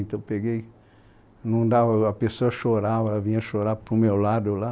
Então eu peguei... Não dava. A pessoa chorava, ela vinha chorar para o meu lado lá.